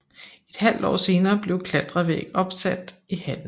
Et halvt år senere blev klatrevæg opsat i hallen